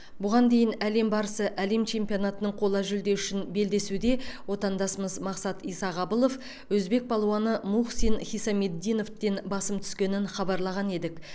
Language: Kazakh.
бұған дейін әлем барысы әлем чемпионатының қола жүлде үшін белдесуде отандасымыз мақсат исағабылов өзбек палуаны мухсин хисамиддиновтен басым түскенін хабарлаған едік